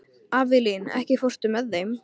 Avelín, ekki fórstu með þeim?